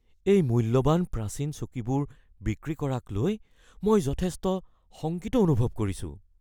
এই মূল্যৱান প্ৰাচীন চকীবোৰ বিক্ৰী কৰাক লৈ মই যথেষ্ট শংকিত অনুভৱ কৰিছোঁ।